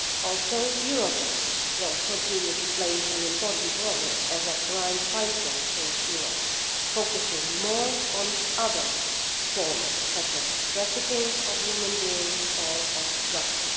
Also, Eurojust will continue to play an important role as a crime fighter in Europe, focusing more on other forms, such as the trafficking of human beings or drugs.